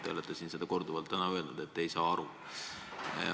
Te olete siin korduvalt öelnud, et te ei saa aru.